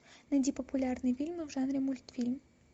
найди популярные фильмы в жанре мультфильм